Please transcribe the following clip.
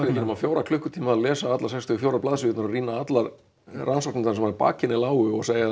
nema fjóra klukkutíma að lesa allar sextíu og fjögur blaðsíðurnar og rýna allar rannsóknirnar sem að baki henni lágu og segja